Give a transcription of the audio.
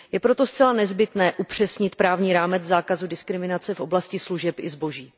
Je proto zcela nezbytné upřesnit právní rámec zákazu diskriminace v oblasti služeb i zboží.